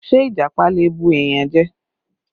Ṣé Ìjàpá lè bù èèyàn jẹ?